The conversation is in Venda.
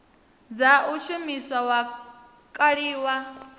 dza u shumisa wa kaliwa